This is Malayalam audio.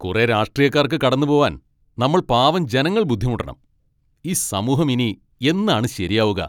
കുറേ രാഷ്ട്രീയക്കാർക്ക് കടന്നുപോവാൻ നമ്മൾ പാവം ജനങ്ങൾ ബുദ്ധിമുട്ടണം, ഈ സമൂഹം ഇനി എന്നാണ് ശരിയാവുക?